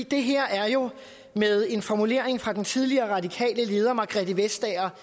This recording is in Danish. det her er jo med en formulering fra den tidligere radikale leder margrethe vestager